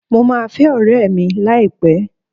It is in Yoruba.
Mo máa fẹ́ ọ̀rẹ́ẹ̀ mi láìpẹ́.